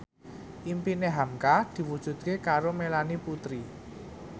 impine hamka diwujudke karo Melanie Putri